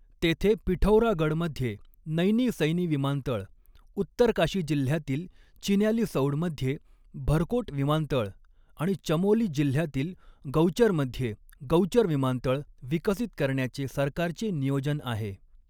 तेथे पिठौरागडमध्ये नैनी सैनी विमानतळ, उत्तरकाशी जिल्ह्यातील चिन्यालीसौडमध्ये भरकोट विमानतळ आणि चमोली जिल्ह्यातील गौचरमध्ये गौचर विमानतळ विकसित करण्याचे सरकारचे नियोजन आहे.